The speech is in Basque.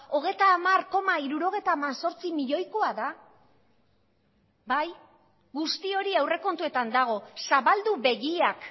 hogeita hamar koma hirurogeita hemezortzi milioikoa da bai guzti hori aurrekontuetan dago zabaldu begiak